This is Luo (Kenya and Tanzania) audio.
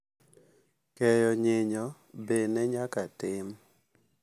Keyo nyinyo be ne nyaka tim.